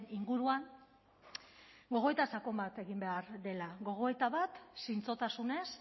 inguruan gogoeta sakon bat egin behar dela gogoeta bat zintzotasunez